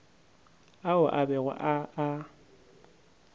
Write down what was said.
ao a bego a a